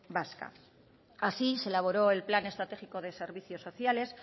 vasca así se elaboró el plan estratégico de servicios sociales